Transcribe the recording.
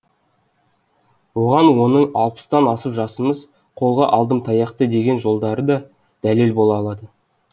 оған оның алпыстан асып жасымыз қолға алдым таяқты деген жолдары да дәлел бола алады